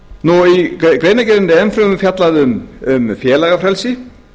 í greinargerðinni er enn fremur fjallað um félagafrelsi